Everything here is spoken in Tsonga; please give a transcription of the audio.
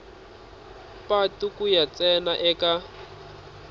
patu ku ya ntsena eka